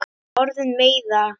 Orðin meiða.